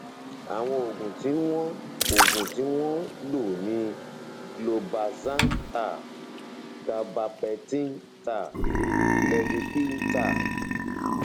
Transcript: àwọn oògùn tí wọn oògùn tí wọn ń lò ni clobazam tab gabapentin tab levipil tab